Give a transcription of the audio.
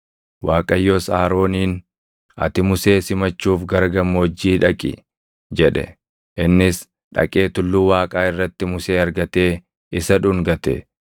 Waaqayyos Arooniin, “Ati Musee simachuuf gara gammoojjii dhaqi!” jedhe. Innis dhaqee Tulluu Waaqaa irratti Musee argatee isa dhungate.